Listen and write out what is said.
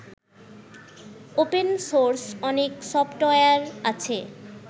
Open source অনেক software আছে।